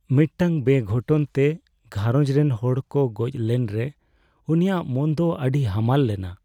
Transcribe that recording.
ᱢᱤᱫᱴᱟᱝ ᱵᱮᱼᱜᱷᱚᱴᱚᱱ ᱛᱮ ᱜᱷᱟᱨᱚᱸᱡᱽ ᱨᱮᱱ ᱦᱚᱲ ᱠᱚ ᱜᱚᱡ ᱞᱮᱱᱨᱮ ᱩᱱᱤᱭᱟᱜ ᱢᱚᱱ ᱫᱚ ᱟᱹᱰᱤ ᱦᱟᱢᱟᱞ ᱞᱮᱱᱟ ᱾